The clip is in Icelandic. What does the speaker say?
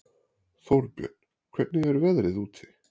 Þórbjörn, hvernig er veðrið úti?